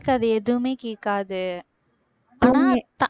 கேக்காது எதுவுமே கேக்காது ஆனா